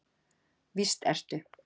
víst ertu